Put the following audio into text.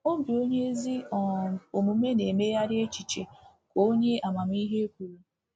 “Obi onye ezi um omume na-emegharị echiche,” ka onye amamihe kwuru.